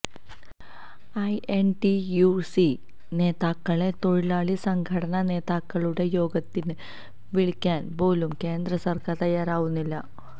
I N T U C നേതാക്കളെ തൊഴിലാളി സംഘടനാ നേതാക്കളുടെ യോഗത്തിന് വിളിക്കാൻ പോലും കേന്ദ്ര സർക്കാർ തയ്യാറാവുന്നില്ല